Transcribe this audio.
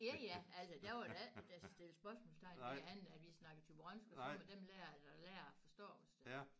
Ja ja altså der var der ikke nogen der stillede spørgsmålstegn ved andet at vi snakkede thyborønsk og så måtte dem lærere der lærer forstå os da